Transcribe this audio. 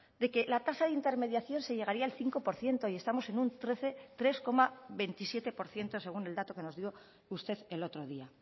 de que la tasa de intermediación de llegaría al cinco por ciento y estamos en un tres coma veintisiete por ciento según el dato que nos dio usted el otro día